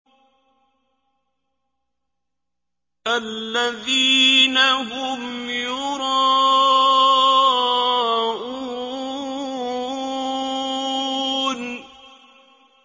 الَّذِينَ هُمْ يُرَاءُونَ